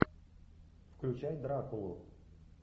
включай дракулу